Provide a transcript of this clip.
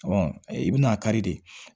i bɛna kari de